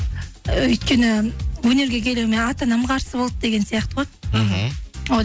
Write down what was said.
өйткені өнерге келуіме ата анам қарсы болды деген сияқты ғой мхм